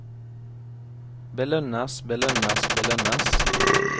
belønnes belønnes belønnes